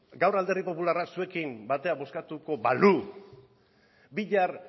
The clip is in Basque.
gaur alderdi popularrak zuekin batera bozkatuko balu bihar